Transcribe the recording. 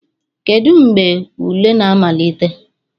Kedu mgbe ule na-amalite